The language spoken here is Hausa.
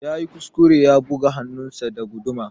Yayi kuskure ya buga hannunsa da guduma.